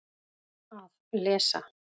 Að lesa